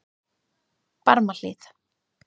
Barmahlíð